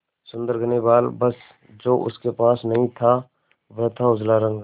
सुंदर घने बाल बस जो उसके पास नहीं था वह था उजला रंग